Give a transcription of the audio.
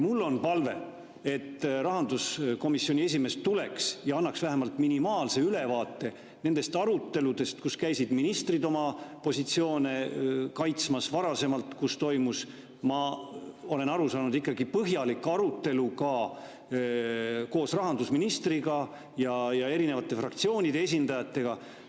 Mul on palve, et rahanduskomisjoni esimees tuleks ja annaks vähemalt minimaalse ülevaate nendest aruteludest, kus käisid ministrid oma positsioone kaitsmas ja kus toimus, nagu ma olen aru saanud, ikkagi põhjalik arutelu ka koos rahandusministriga ja erinevate fraktsioonide esindajatega.